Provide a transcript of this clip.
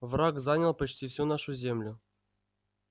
враг занял почти всю нашу землю